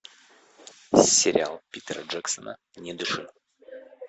сериал питера джексона не дыши